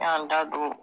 N y'an da don